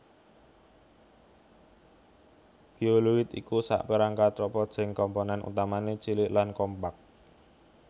Bioloid iku sakperangkat robot sing komponèn utamané cilik lan kompak